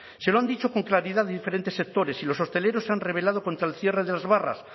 se lo han dicho con claridad diferentes sectores y los hosteleros se han revelado contra el cierre de las barras